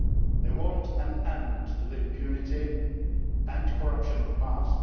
They want an end to the impunity and corruption of the past